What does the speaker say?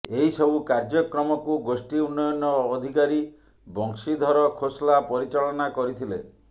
ଏହି ସବୁ କାର୍ଯ୍ୟକ୍ରମକୁ ଗୋଷ୍ଠୀ ଉନ୍ନୟନ ଅଧିକାରୀ ବଂଶିଧର ଖୋସଲା ପରିଚାଳନା କରିଥିଲେ